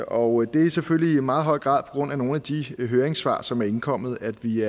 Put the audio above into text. og det er selvfølgelig i meget høj grad grund af nogle af de høringssvar som er indkommet at vi